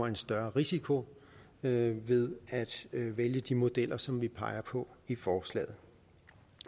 en større risiko ved ved at vælge de modeller som vi peger på i forslaget